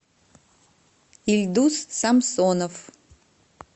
ильдус самсонов